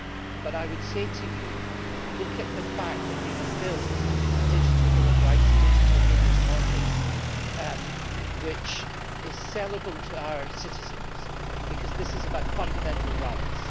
But I would say to you look at the fact that we have built a digital bill of rights, a digital habeas corpus, which is sellable to our citizens, because this is about fundamental rights.